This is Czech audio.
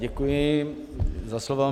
Děkuji za slovo.